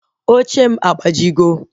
Oche m agbajigo